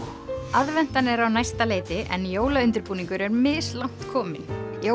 aðventan er á næsta leyti en jólaundirbúningur er mislangt kominn